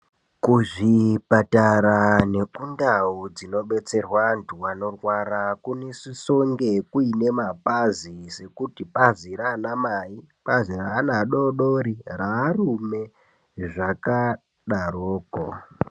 Kuzvipatara nekundau dzinobetserwa antu anorwara kunosisonge kuine mapazi, sekuti bazi raana mai, bazi raana adodori raarume zvakadaroko.